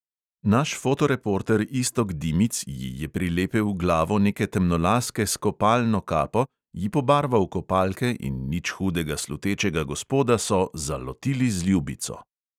Naš fotoreporter iztok dimic ji je prilepil glavo neke temnolaske s kopalno kapo, ji pobarval kopalke in nič hudega slutečega gospoda so "zalotili z ljubico".